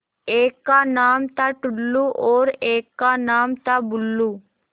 एक का नाम था टुल्लु और एक का नाम था बुल्लु